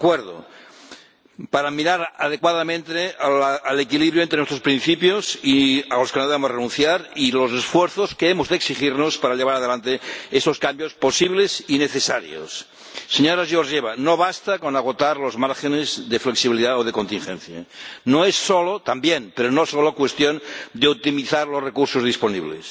De acuerdo para mirar adecuadamente al equilibrio entre nuestros principios, a los que no debemos renunciar, y a los esfuerzos que hemos de exigirnos para llevar adelante esos cambios posibles y necesarios. Señora Georgieva, no basta con agotar los márgenes de flexibilidad o de contingencia. También, pero no es solo cuestión de optimizar los recursos disponibles.